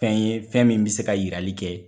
Fɛn ye ,fɛn min be se ka yirali kɛ